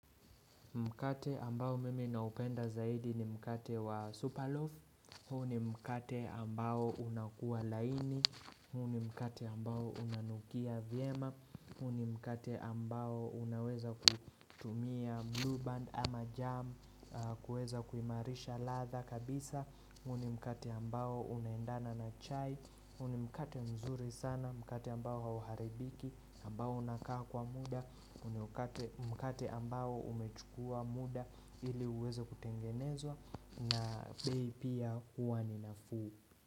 Mkate ambao mimi naupenda zaidi ni mkate wa superloaf, huu ni mkate ambao unakuwa laini, huu ni mkate ambao unanukia vyema, huu ni mkate ambao unaweza kutumia blue band ama jam, kuweza kuimarisha ladha kabisa, huu ni mkate ambao unaendana na chai, huu ni mkate mzuri sana, mkate ambao hauharibiki, ambao unakaa kwa muda, mkate ambao umechukua muda ili uweze kutengenezwa na bei pia huwa ni nafuu.